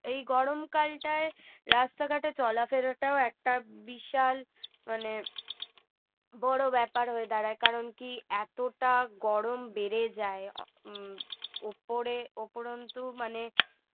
এই গরমকালটাই রাস্তাঘাটে চলাফেরাটাও একটা বিশাল মানে বড় ব্যাপার হয়ে দাঁড়ায় কারণ কি এতটা গরম বেড়ে যায় হম উপরে উপরন্তু মানে